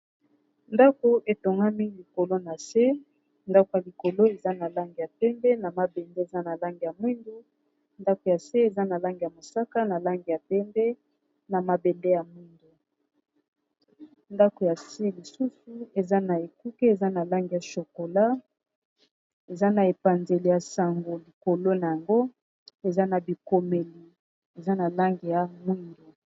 Ndako etongami likolo na se ndako ya likolo eza na lange ya pembe na mabende eza na lange ya mwindu ndako ya se eza na lange ya mosaka na lange ya pembe na mabende ya mwindu ndako ya se lisusu eza na ekuke eza na lange ya chokola eza na epanzeli ya sango likolo na yango eza na bikomeli eza na lange ya mwindu.